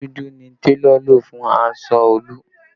Òwú dúdú ni télọ̀ lò fún aṣọ Olú